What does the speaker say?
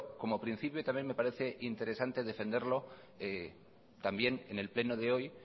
como principio también me parece interesante defenderlo también en el pleno de hoy